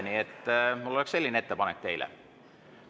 Nii et mul oleks selline ettepanek teile.